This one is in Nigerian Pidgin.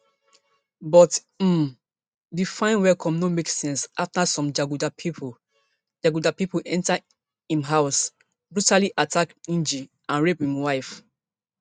but um di fine welcome no make sense afta some jaguda pipo jaguda pipo enta im house brutally attack ngg and rape im wife